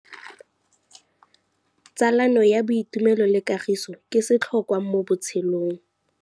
Tsalano ya boitumelo le kagiso ke setlhôkwa mo botshelong.